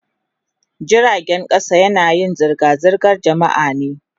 Jiragen kasa yanayin zirga-zirgar jama'a ne.